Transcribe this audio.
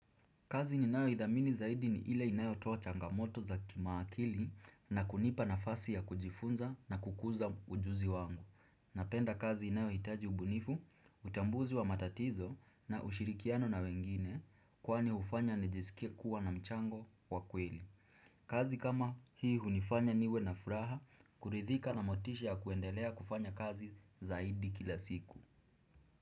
Kazi ni nayo idhamini zaidi ni ile inayo toa changamoto za kimaakili na kunipa na fasi ya kujifunza na kukuza ujuzi wangu. Napenda kazi inayo hitaji ubunifu, utambuzi wa matatizo na ushirikiano na wengine kwani hufanya nijisikie kuwa na mchango wa kweli. Kazi kama hii hunifanya niwe na furaha, kuridhika na motisha ya kuendelea kufanya kazi zaidi kila siku.